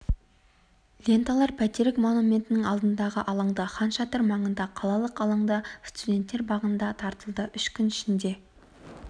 ленталар бәйтерек монументінің алдындағы алаңда хан шатыр маңында қалалық алаңда студенттер бағында таратылды үш күн ішінде